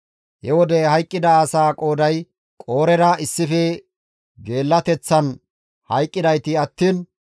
He wode hayqqida asaa qooday Qoorera issife geellateththan hayqqidayti attiin 14,700.